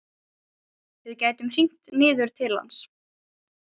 Við gætum hringt niður til hans.